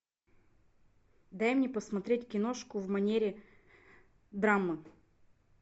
дай мне посмотреть киношку в манере драмы